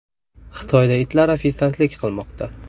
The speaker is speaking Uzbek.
Xitoyda itlar ofitsiantlik qilmoqda .